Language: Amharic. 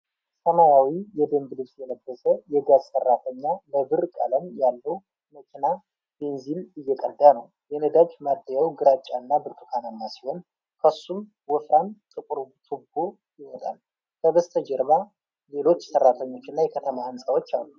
ሰማያዊ የደንብ ልብስ የለበሰ የጋዝ ሰራተኛ ለብር ቀለም ያለው መኪና ቤንዚን እየቀዳ ነው። የነዳጅ ማደያው ግራጫና ብርቱካናማ ሲሆን፣ ከሱም ወፍራም ጥቁር ቱቦ ይወጣል። ከበስተጀርባ ሌሎች ሰራተኞች እና የከተማ ህንጻዎች አሉ።